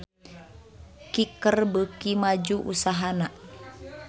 Kicker beuki maju usahana